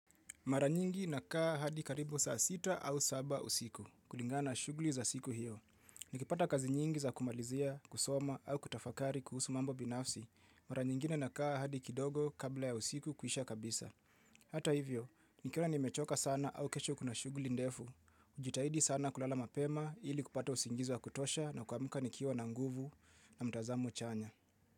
Mara nyingi nakaa hadi karibu saa sita au saba usiku kulingana shughuli za siku hiyo. Nikipata kazi nyingi za kumalizia, kusoma au kutafakari kuhusu mambo binafsi. Mara nyingine nakaa hadi kidogo kabla ya usiku kuisha kabisa. Hata hivyo, nikila nimechoka sana au kesho kuna shughuli ndefu. Hujitahidi sana kulala mapema ili kupata usingizi wa kutosha na kuamka nikiwa na nguvu na mtazamo chanya.